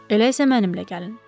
Elə isə mənimlə gəlin.